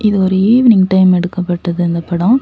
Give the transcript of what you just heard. இது ஒரு evening time எடுக்கப்பட்டது இந்த படம்.